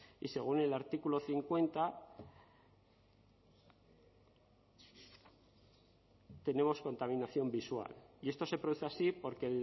y según el artículo cincuenta tenemos contaminación visual y esto se produce así porque